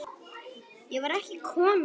Ég var ekki kona!